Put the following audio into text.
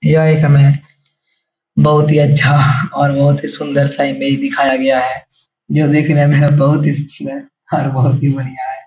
यह एक हमें बहुत ही अच्छा और बहुत ही सुन्दर सा इमेज दिखाया गया है जो देखने में बहुत ही सुन्दर और बहुत ही बढ़िया है।